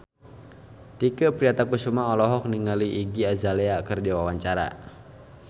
Tike Priatnakusuma olohok ningali Iggy Azalea keur diwawancara